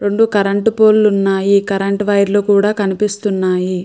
రెండు కరెంటు పోల్లు ఉన్నాయి కరెంటు వైర్ లు కూడా కనిపిస్తున్నాయి.